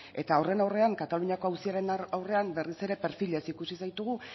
eta horren aurrean kataluniako auziaren aurrean berriz ere perfilez ikusi zaitugu